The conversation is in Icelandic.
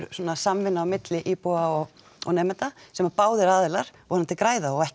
samvinna á milli íbúa og nemenda sem að báðir aðilar vonandi græða á og ekki